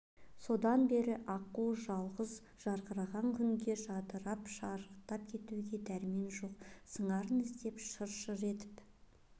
содан бер аққу жалғыз жарқыраған күнге жадырап шарықтап кетуге дәрмен жоқ сыңарын іздеп шыр-шыр етіп